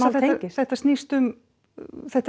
þetta snýst um þetta er